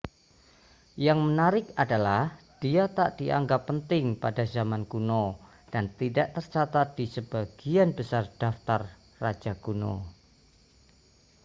yang menarik adalah dia tak dianggap penting pada zaman kuno dan tidak tercatat di sebagian besar daftar raja kuno